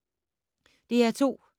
DR2